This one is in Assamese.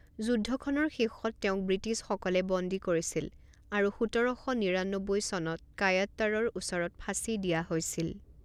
যুদ্ধখনৰ শেষত তেওঁক ব্ৰিটিছসকলে বন্দী কৰিছিল আৰু সোতৰ শ নিৰান্নব্বৈ চনত কায়াট্টাৰৰ ওচৰত ফাঁচি দিয়া হৈছিল।